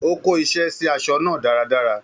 Ó kó iṣẹ́ sí aṣọ náà dáradára